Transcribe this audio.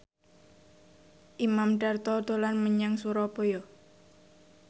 Imam Darto dolan menyang Surabaya